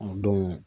O don